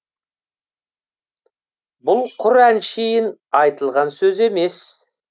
бұл құр әншейін айтылған сөз емес